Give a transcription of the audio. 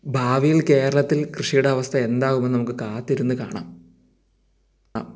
ഭാവിയിൽ കേരളത്തിൽ കൃഷിയുടെ അവസ്ഥ എന്താവുമെന്ന് നമുക്ക് കാത്തിരുന്നു കാണാം അ..